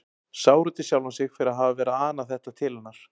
Sár út í sjálfan sig fyrir að hafa verið að ana þetta til hennar.